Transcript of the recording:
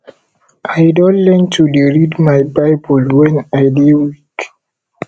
i don learn to dey read my bible wen i dey weak